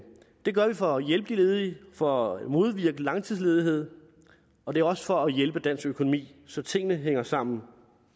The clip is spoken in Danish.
det gør vi for at hjælpe de ledige for at modvirke langtidsledighed og det er også for at hjælpe dansk økonomi så tingene hænger sammen